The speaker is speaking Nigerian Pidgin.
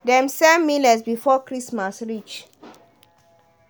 dem sell millet before christmas reach.